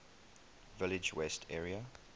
village west area